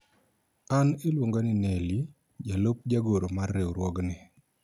an iluonga ni Neli ,jalup jagoro mar riwruogni